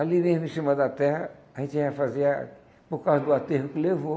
Ali mesmo, em cima da terra, a gente ia fazer a por causa do aterro que levou.